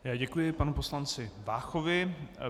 Já děkuji panu poslanci Váchovi.